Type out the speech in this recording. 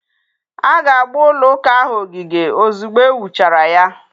A ga-agba ụlọ ụka ahụ ogige ozugbo e wuchara ya.